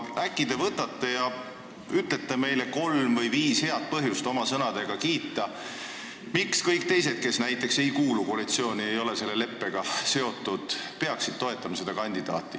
Äkki te võtate kätte ja ütlete meile kolm või viis head põhjust, miks kõik teised, kes ei kuulu koalitsiooni ega ole selle leppega seotud, peaksid seda kandidaati toetama?